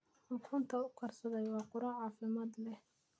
Ukunta ugaarsaday waa quraac caafimaad leh.